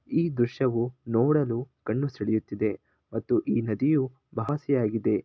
ಈ ದೃಶ್ಯ ವು ನೋಡಲು ಕಣ್ಣು ಸೆಳೆಯುತಿದೆ ಮತ್ತು ಈ ನದಿಯು ಆಗಿದೆ.